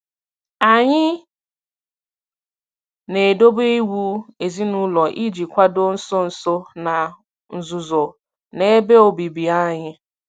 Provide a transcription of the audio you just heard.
Anyị na-edobe iwu ezinụlọ iji kwado nso nso na nzuzo na ebe obibi anyị.